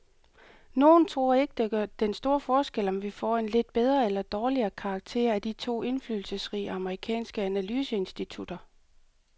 Nogle tror ikke, det gør den store forskel, om vi får en lidt bedre eller dårligere karakter af de to indflydelsesrige amerikanske analyseinstitutter.